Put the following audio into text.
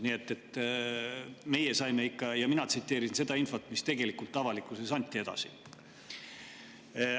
Nii et meie saime selle ikka ja mina tsiteerisin seda infot, mis avalikkuses edasi anti.